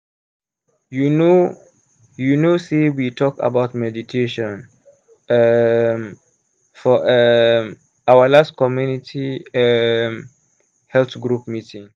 you know you know sey we talk about meditation um for um our last community um health group meeting.